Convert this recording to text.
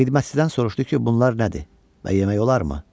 Xidmətçidən soruşdu ki, bunlar nədir və yemək olarmı?